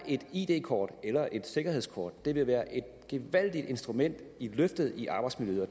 et id kort eller et sikkerhedskort vil være et gevaldigt instrument i løftet i arbejdsmiljøet og